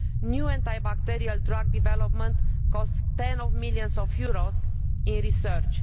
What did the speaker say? New anti bacterial drug development costs tens of millions of euros in research.